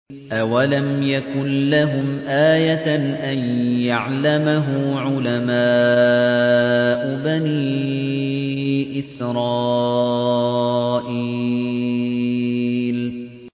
أَوَلَمْ يَكُن لَّهُمْ آيَةً أَن يَعْلَمَهُ عُلَمَاءُ بَنِي إِسْرَائِيلَ